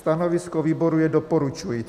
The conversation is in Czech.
Stanovisko výboru je doporučující.